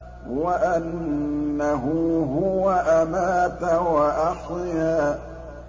وَأَنَّهُ هُوَ أَمَاتَ وَأَحْيَا